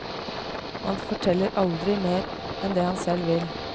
Og han forteller aldri mer enn det han selv vil.